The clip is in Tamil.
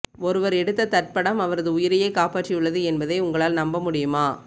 ஒருவர் எடுத்த தற்படம் அவரது உயிரையே காப்பாற்றியுள்ளது என்பதை உங்களால் நம்பமுடியுமா